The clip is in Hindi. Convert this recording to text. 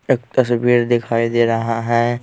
एक तस्वीर दिखाई दे रहा है।